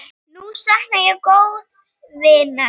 Nú sakna ég góðs vinar.